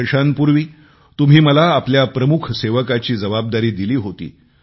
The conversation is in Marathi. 3 वर्षांपूर्वी तुम्ही मला आपल्या प्रमुख सेवकाची जबाबदारी दिली होती